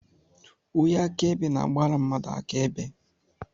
Onye akaebe na-agbara mmadụ akaebe.